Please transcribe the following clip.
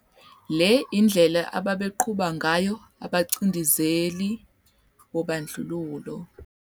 Le indlela ababeqhuba ngayo abacindezeli bobandlululo.